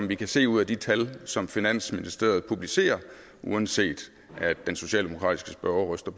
vi kan se ud af de tal som finansministeriet publicerer uanset at den socialdemokratiske spørger ryster